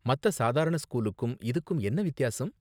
மத்த சாதாரண ஸ்கூலுக்கும் இதுக்கும் என்ன வித்தியாசம்?